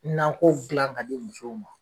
Nakɔw gila k'a di musow ma